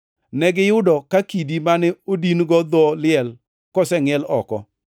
Negiyudo ka kidi mane odin-go dho liel kosengʼiel oko,